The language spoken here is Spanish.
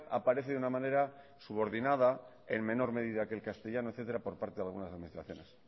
aparece de una manera subordinada en menor medida que el castellano etcétera por parte de algunas administraciones